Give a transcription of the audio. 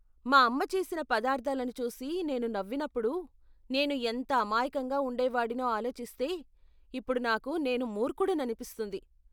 మా అమ్మ చేసిన పదార్ధాలను చూసి నేను నవ్వినప్పుడు నేను ఎంత అమాయకంగా ఉండేవాడినో ఆలోచిస్తే ఇప్పుడు నాకు నేను మూర్ఖుడిననిపిస్తుంది.